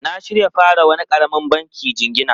Na shirya fara wani karamin banki jingina.